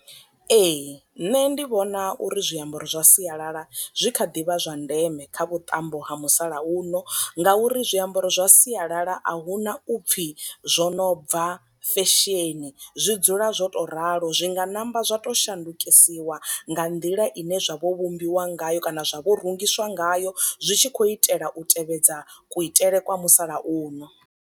Ee nṋe ndi vhona uri zwiambaro zwa sialala zwi kha ḓi vha zwa ndeme kha vhuṱambo ha musalauno nga uri zwiambaro zwa sialala ahuna upfi zwo no bva fesheni, zwi dzula zwo to ralo zwi nga namba zwa to shandukisiwa nga nḓila ine zwa vho vhumbiwa ngayo kana zwa vho rungiswa ngayo zwi tshi khou itela u tevhedza kuitele kwa musalauno.